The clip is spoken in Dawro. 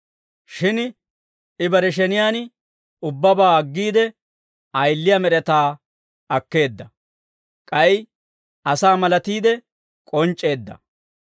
Shin I bare sheniyaan ubbabaa aggiide, ayiliyaa med'etaa akkeedda; k'ay asaa malatiide k'onc'c'eedda.